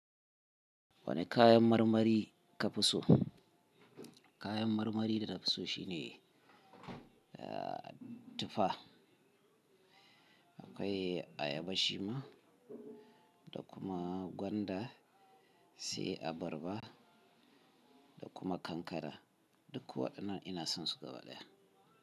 Wani kayan marmari ka fi so? Kayan marmari da na fi so shine, ah, tufa. Akwai ayaba shima da kuma gwanda, sai abarba da kuma kankana. Duk waɗannan na son su gaba daya.